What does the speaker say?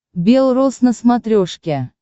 бел рос на смотрешке